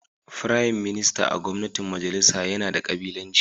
Firayim Minista a gwamnatin majalisa yana da kabilanci